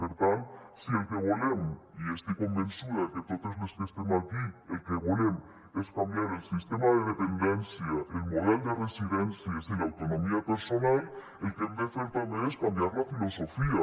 per tant si el que volem i estic convençuda que totes les que estem aquí el que volem és canviar el sistema de dependència el model de residències i l’autonomia personal el que hem de fer també és canviar la filosofia